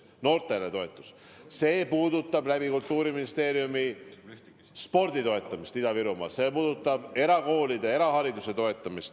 Toetus noortele tähendab ka Kultuuriministeeriumi kaudu spordi toetamist Ida-Virumaal, see tähendab erakoolide, erahariduse toetamist.